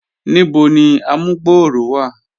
Níbò ni àmùgbọ̀rọ̀ wa?